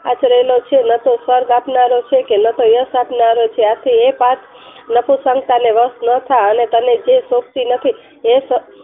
આશરેલો છે. ન તો સ્વર્ગ આપનારો છે કે ન તો યશ આપનારો છે. આથી એ પાથ અને તને જે શોભતી નથી તે